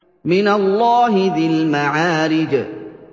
مِّنَ اللَّهِ ذِي الْمَعَارِجِ